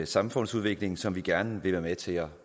samfundsudvikling som vi gerne vil være med til at